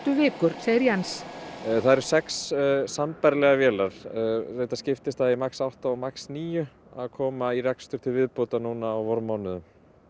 vikur segir Jens það eru sex sambærilegar vélar reyndar skiptist það í max átta og max níu að koma í rekstur til viðbótar núna á vormánuðum